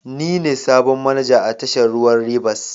Ni ne sabon manaja a tashar ruwan Rivers.